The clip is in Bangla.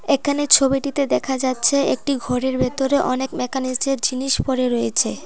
এখানে ছবিটিতে দেখা যাচ্ছে একটি ঘরের ভেতরে অনেক মেকানিজের জিনিস পড়ে রয়েছে।